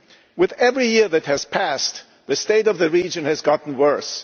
With every year that has passed, the state of the region has got worse.